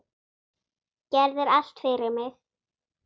Gerðir allt fyrir mig.